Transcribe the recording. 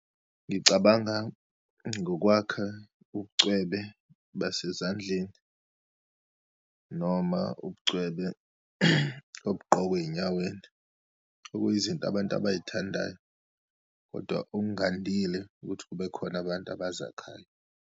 Ngicabanga ngokwakha ubucwebe besezandleni noma ubucwebe obugqokwa eyinyaweni. Okuyizinto abantu abayithandayo, kodwa okungandile ukuthi kube khona abantu abazakhayo.